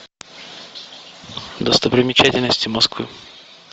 достопримечательности москвы